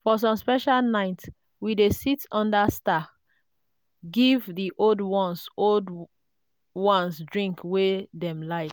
for some special night we dey sit under star give the old ones old ones drink wey dem like.